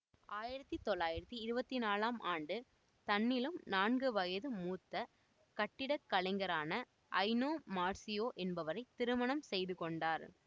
ஆயிரத்தி தொள்ளாயிரத்தி இருபத்தி நாழாம் ஆண்டு தன்னிலும் நான்கு வயது மூத்த கட்டிடக்கலைஞரான ஐனோ மார்சியோ என்பவரை திருமணம் செய்துகொண்டார்